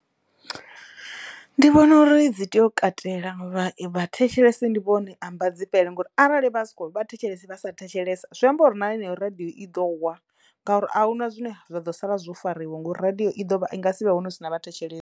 Ndi vhona uri dzi teyo u katela vha vhathetshelesi ndi vhone ambadzifhele ngori arali vha si kho vhathetshelesi vha sa thetshelesa zwi amba uri na heneyo radiyo i ḓo wa ngauri ahuna zwine zwa ḓo sala zwo fariwa ngo ri radiyo i nga si vhe hone hu si na vhathetshelesi.